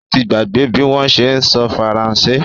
Ó ti gbàgbé bí wọ́n ṣé ń sọ Faransé